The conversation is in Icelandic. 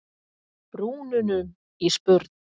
brúnunum í spurn.